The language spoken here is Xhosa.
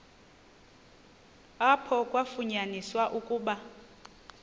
apho kwafunyaniswa ukuba